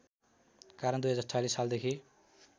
कारण २०४६ सालदेखि